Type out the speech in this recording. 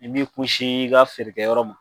I b'i kunsi i ka feerekɛ yɔrɔ ma.